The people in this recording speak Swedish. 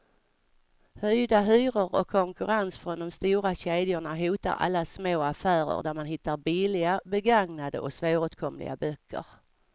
Höjda hyror och konkurrens från de stora kedjorna hotar alla små affärer där man hittar billiga, begagnade och svåråtkomliga böcker.